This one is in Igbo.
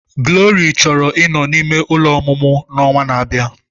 Glory chọrọ ịnọ n'ime ụlọ ọmụmụ n'ọnwa na-abịa.